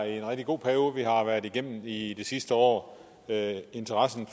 en rigtig god periode vi har været igennem i det sidste år interessen